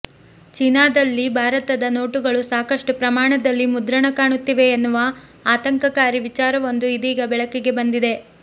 ಚೀನಾದಲ್ಲಿ ಭಾರತದ ನೋಟುಗಳು ಸಾಕಷ್ಟು ಪ್ರಮಾಣದಲ್ಲಿ ಮುದ್ರಣ ಕಾಣುತ್ತಿವೆ ಎನ್ನುವ ಆತಂಕಕಾರಿ ವಿಚಾರವೊಂದು ಇದೀಗ ಬೆಳಕಿಗೆ ಬಂದಿದೆ